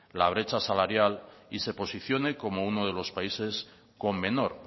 la brecha salarial y se posicione como uno de los países con menor